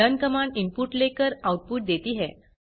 learn command input लेकर output देती है